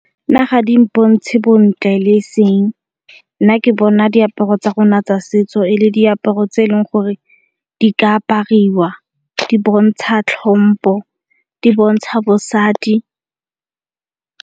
Nna ga di mpontshe bontle le eseng, nna ke bona diaparo tsa rona tsa setso e le diaparo tse eleng gore di ka apariwa di bontsha tlhompho di bontsha bosadi.